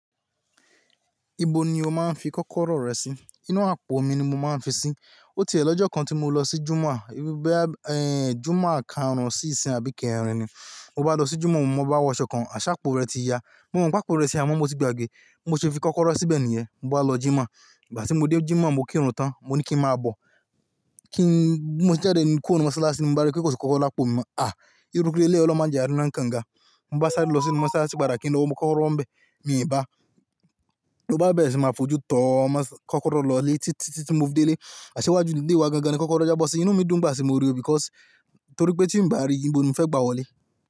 Ibo ni o máa ń fi kọ́kọ́rọ́ rẹ sí? Inú àpò mi ni mo máa ń fi sí. Ó ti è lọ́jọ́ kan tí mo lọ sí Jùmà, Jùmà kanrun sí ìsìn àbí k'eerin ni. Mo bá lọ sí Jùmà, mo bá wọṣọ kan, àṣà àpò rẹ ti ya. Mo mọ̀ pé àpò rẹ ti ya, àmọ́ mo ti gba gbé, mo se fi kọ́kọ́rọ́ síbẹ̀ nìyẹn. Mo bá lọ Jùmà, ìgbà tí mo dé Jùmà mo kírun tán, mo ní kí ń máa bọ̀. Kí n, bi mo ti jáde ni kùro nu mosalasi, mo bá rí pé kò sí kọ́kọ́rọ́ lápò mi mọ, à! Irú kileleyi olórun máa ń jẹ àári náà kannga. Mo bá sáré lọ sí inú mọ́ṣáláṣí pada kí ń lọ mú kọ́kọ́rọ́ n bẹ. Mi i bá. Mo bá bẹ̀rẹ̀ sí máa fojú tọ́ mọ́ kọ́kọ́rọ́ l'ọlé títí tí mo fi de ilé. Àṣé wá ju ílé wa gan-an ni kọ́kọ́rọ́ jábọ́ sí. Inú mi dùn ngbá ti mo rí o because torí pé tí ń bá rí i, ibo ni o fẹ́ gba wọlé?